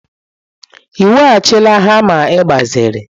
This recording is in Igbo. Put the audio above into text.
Ị weghachila hama ị gbaziri?